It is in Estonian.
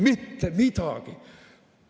Mitte midagi!